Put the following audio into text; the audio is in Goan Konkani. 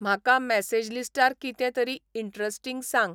म्हाका मॅसेज लिस्टार कितेंतरी इन्टरस्टींग सांग